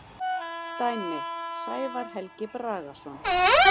Dæmi: Sævar Helgi Bragason.